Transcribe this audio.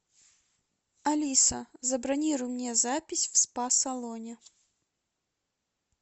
алиса забронируй мне запись в спа салоне